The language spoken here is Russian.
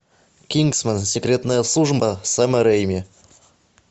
кингсман секретная служба сэма рэйми